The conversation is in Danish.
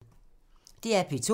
DR P2